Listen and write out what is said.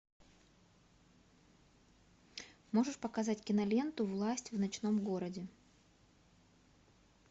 можешь показать киноленту власть в ночном городе